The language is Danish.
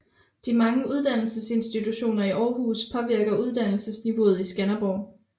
De mange uddannelsesinstitutioner i Aarhus påvirker uddannelsesniveauet i Skanderborg